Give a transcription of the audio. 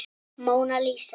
Móna Lísa.